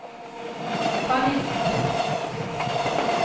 panikk